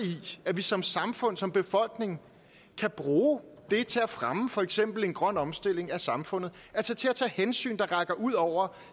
at vi som samfund som befolkning kan bruge det til at fremme for eksempel en grøn omstilling af samfundet altså til at tage hensyn der rækker ud over